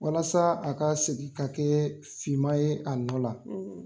Walasa a ka segin ka kɛ fin ma ye a nɔ la.